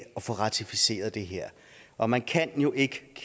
få ratificeret det her og man kan jo ikke